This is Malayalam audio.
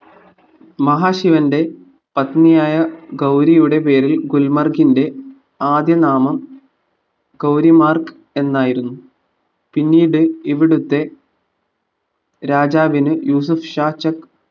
മഹാശിവന്റെ പത്‌നിയായ ഗൗരിയുടെ പേരിൽ ഗുൽമർഗിന്റെ ആദ്യ നാമം ഗൗരിമാർഗ് എന്നായിരുന്നു പിന്നീട് ഇവിടുത്തെ രാജാവിന് യൂസുഫ് ഷാ ചക്